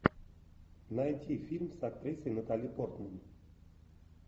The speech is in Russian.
найти фильм с актрисой натали портман